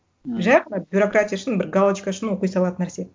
жай ғана бюрократия үшін бір галочка үшін оқи салатын нәрсе